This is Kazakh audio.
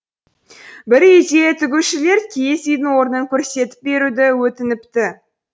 бірде үй тігушілер киіз үйдің орнын көрсетіп беруді өтініпті